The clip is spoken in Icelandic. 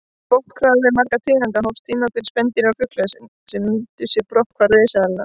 Með brotthvarfi margra tegunda hófst tímabil spendýra og fugla sem nýttu sér brotthvarf risaeðlanna.